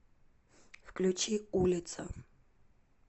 включи улица